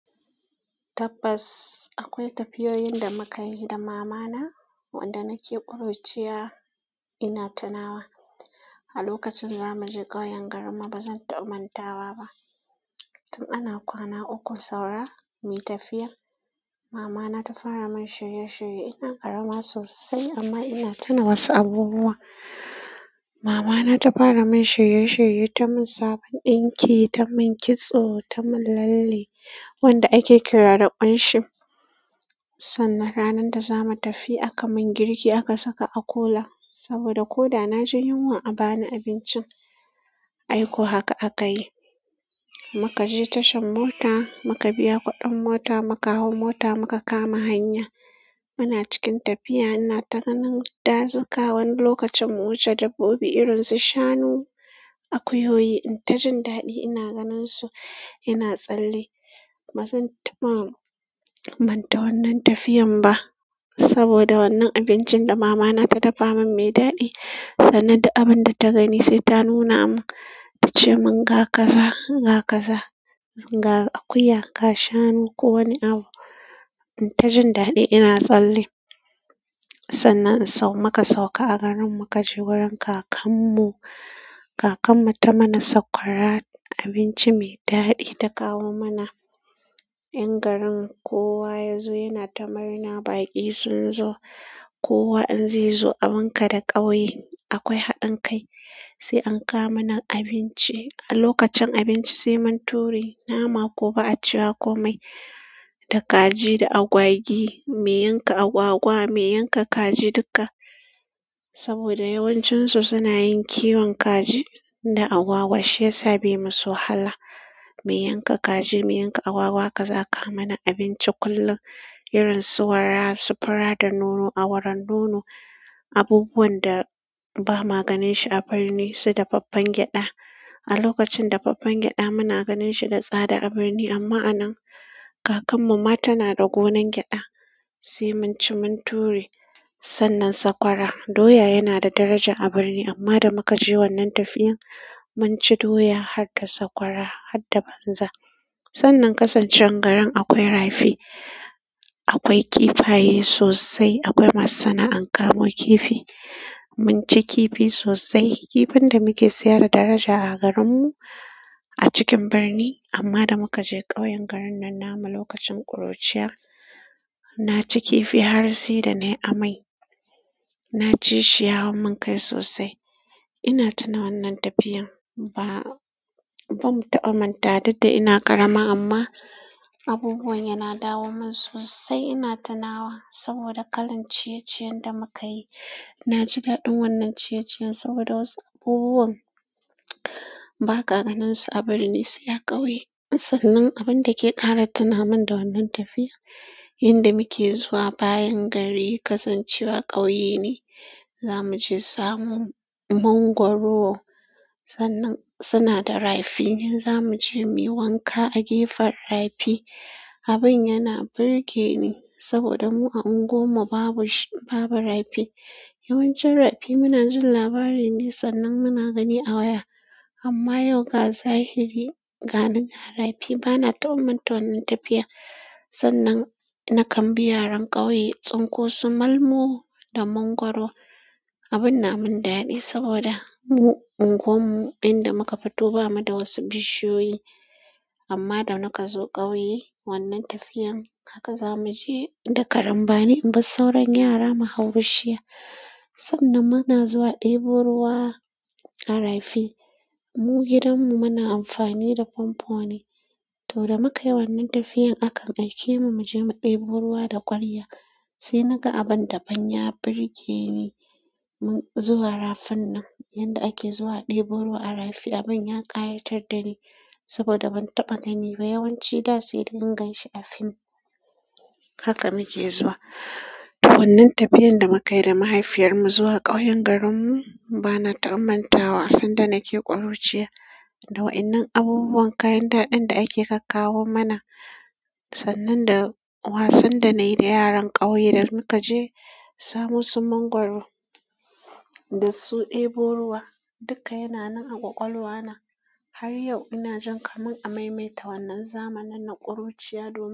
Tabbas, akwai tafiyoyin da mukayi da mamana wanda nake kuruciya ina tunawa a lokacin za mu je ƙauyen garinmu ba zan taɓa mantawa ba. Tun ana kwana uku saura, muyi tafiya. Mama na ta fara min shirye shirye. Ina ƙarama sosai amma ina tunawa wasu abubuwa. Mama na ta fara min shirye shirye, ta mun sabon ɗinki, ta mun kitso, ta mun lalle wanda ake kira da ƙunshi. Sannan ranar da za mu tafi aka mun girki aka saka a kula saboda ko da na ji yunwa a bani abincin. Aiko haka akayi muka je tashan mota muka biya kuɗin mota muka hau mota muka kama hanya. Muna cikin tafiya inata ganin dazuka wani lokacin mu wuce dabbobi irinsu shanu, akuyoyi intajin daɗi ina ganinsu ina tsalle ba zan taɓa manta wannan tafiyan ba saboda wannan abincin da mama na ta dafa man mai daɗi sannan da abinda ta gani sai ta nuna mun ta ce mun ga kaza, ga kaza, ga akuya, ga shanu ko wani abu. In ta jin daɗi ina tsalle. Sannan in sau muka sauka a garin muka je wurin kakan mu. Kakan mu ta mana sakwara abinci mai daɗi ta kawo mana. Ƴan garin kowa yanzu yana ta murna baƙi sun zo. Kowa in zai zo a bunka da ƙauye akwai haɗin kai. Sai an kawo mana abinci. A lokacin abinci sai mun ture nama ko ba a cewa komai da kaji da agwagi. Me yanka agwagwa me yanka kaji duka, saboda yawancin su suna yin kiwon kaji da agwagwa shiyasa bai masu wahala. Me yanka kaji me yanka agwagwa haka za a kawo mana abinci kullum irin su wara su fura da nono awaron nono abubuwan da ba ma ganin shi a birni su dafaffen gyaɗa. A lokacin dafaffen gyaɗa muna ganin shi da tsada a birni amma a nan kakan mu ma tana da gonan gyaɗa sai mun ci mun ture sannan sakwara doya yana da daraja a birni amma da muka je wannan tafiyan mun ci doya har da sakwara hatta banza. Sannan kasan cewan garin akwai rafi. Akwai kifaye sosai akwai masu sana'an kamo kifi. Mun ci kifi sosai. Kifin da muke siya da daraja a garin mu a cikin birni amma da muka je ƙauyen garin nan namu lokacin ƙuruciya na ci kifi har sai da nai amai. Na ci shi ya hau mun kai sosai. Ina tuna wannan tafiyan ba, ba mu taɓawa mantawa duk da ina ƙarama amma abubuwan yana dawo mun sosai ina tunawa saboda kalan ciye-ciyen da mu ka yi. Na ji daɗin wannan ciyeciyen saboda wasu abubuwan ba ka ganin su a birni sai a ƙauye. Sannan abin da ke ƙara tuna min da wannan tafiya yanda muke zuwa bayan gari kasancewa ƙauye ne. Za mu je samo mangwaro sannan suna da rafi nan zamu je muyi wanka a gefen rafi. Abin yana burge ni saboda mu a unguwan mu babu shi babu rafi. Yawancin rafi muna jin labari ne sannan muna gani a waya amma yau ga zahiri gani ga rafi ba na taɓa manta wannan tafiya. Sannan na kambi yaran ƙauye tsinko su malmo da mangwaro. Abin na mun daɗi saboda mu unguwan mu inda muka fito ba mu da wasu bishiyoyi amma da muka zo ƙauye wannan tafiyan haka za mu je da karambani in ba sauran yara mu hau bishiya. Sannan muna zuwa ɗebo ruwa a rafi. Mu gidan mu muna amfani da famfo ne to da muka yi wannan tafiyan akan aike mu mu je mu ɗebo ruwa da kwarya. Sai na ga abin daban ya burge ni mun zuwa rafin nan yanda ake zuwa ɗebo ruwa a rafi abin ya ƙayatar da ni saboda ban taɓa gani ba yawanci na sai dingan shi a film. Haka muke zuwa, to wannan tafiyan da mu kayi da mahaifiyarmu zuwa ƙauyen garinmu bana taɓa mantawa sanda nike kuruciya da wa'innan abubuwan kayan daɗin da ake ka kawo mana sannan da wasan da nayi da yaran ƙauye da muka je samo su mangwaro da su ɗebo ruwa duka yana nan a ƙwaƙwalwa na. Har yau ina jin kaman amaimaita wannan zamanin na ƙuruciya duk.